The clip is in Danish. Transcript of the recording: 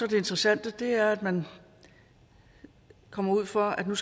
interessante og det er at man kommer ud for at man